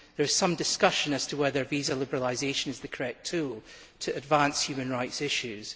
There is some discussion as to whether visa liberalisation is the correct tool to advance human rights issues.